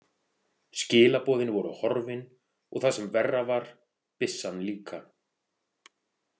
Skilaboðin voru horfin, og það sem verra var, byssan líka.